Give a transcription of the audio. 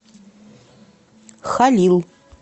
халил